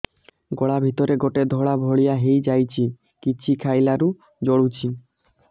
ଗଳା ଭିତରେ ଗୋଟେ ଧଳା ଭଳିଆ ହେଇ ଯାଇଛି କିଛି ଖାଇଲାରୁ ଜଳୁଛି